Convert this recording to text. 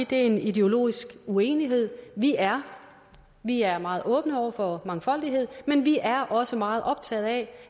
det er en ideologisk uenighed vi er vi er meget åbne over for mangfoldighed men vi er også meget optaget af